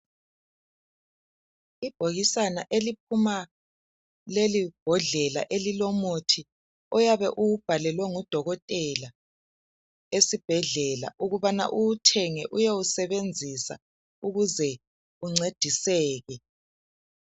Ibhokisana eliphuma leli bhodlela elilomuthi oyabe uwubhalelwe ngudokotela esibhedlela ukubana uwuthenge uyewusebenzisa ukuze uncediseke.